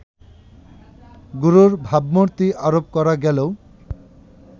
গুরুর ভাবমূর্তি আরোপ করা গেলেও